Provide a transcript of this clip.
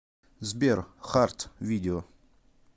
сбер харт видео